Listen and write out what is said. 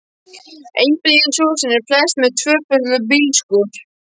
Einbýlishúsin eru flest með tvöföldum bílskúr.